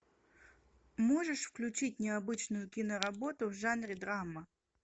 можешь включить необычную киноработу в жанре драма